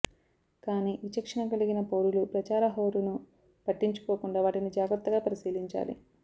కానీ విచక్షణ కలిగిన పౌరులు ప్రచార హోరును పట్టించుకోకుండా వాటిని జాగ్రత్తగా పరిశీలించాలి